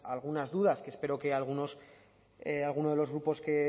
algunas dudas que espero que algunos de los grupos que